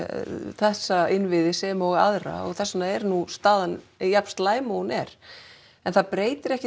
þessa innviði sem og aðra og þess vegna er nú staðan jafn slæm og hún er en það breytir ekki